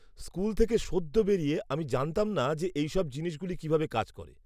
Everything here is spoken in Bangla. স্কুল থেকে সদ্য বেরিয়ে আমি জানতাম না যে এই সব জিনিসগুলি কীভাবে কাজ করে।